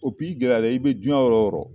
i gɛlɛyara i bɛ diɲɛ yɔrɔ o yɔrɔ